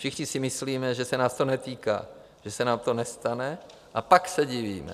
Všichni si myslíme, že se nás to netýká, že se nám to nestane, a pak se divíme.